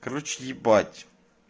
короче ебать